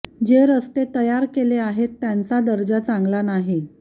जे रस्ते तयार केले आहेत त्यांचा दर्जा चांगला नाही